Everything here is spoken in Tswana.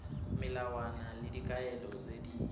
melawana le dikaelo tse di